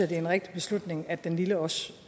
det er en rigtig beslutning at den lille også